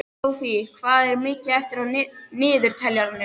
Sophie, hvað er mikið eftir af niðurteljaranum?